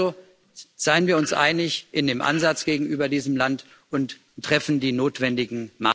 Also, seien wir uns einig in dem Ansatz gegenüber diesem Land und treffen die notwendigen